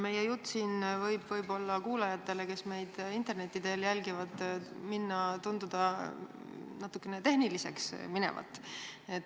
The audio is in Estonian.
Meie jutt võib kuulajatele, kes meid interneti teel jälgivad, tunduda natukene liiga tehniliseks minevat.